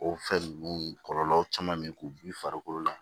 O fɛn ninnu kɔlɔlɔw caman bɛ k'u bin farikolo la